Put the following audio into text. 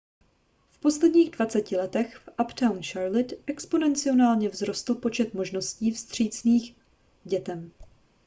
v posledních 20 letech v uptown charlotte exponenciálně vzrostl počet možností vstřícných k dětem